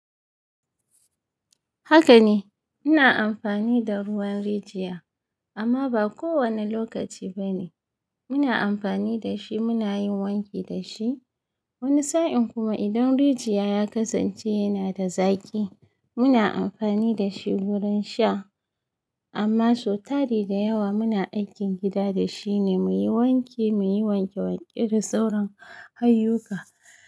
Haka ne, muna amfani da ruwan rijiya amma ba kowane lokaci ba ne. Muna amfani da shi muna yin wanki da shi. Wani sa'in kuma idan rijiya ya kasance yana da zaƙi, muna amfani da shi wurin sha. Amma sau tari da yawa muna aikin gida da shi ne, muyi wanki, muyi wanke wanke da sauran ayyuka.